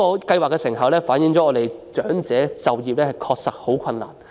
計劃的成效反映本港長者就業的確實困難。